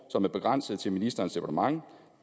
som er begrænset til ministerens departement